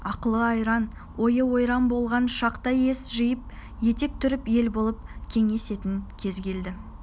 ақылы-айран ойы-ойран болған шақта ес жиып етек түріп ел болып кеңесетін кез келді